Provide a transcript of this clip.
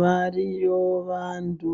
Variyo vantu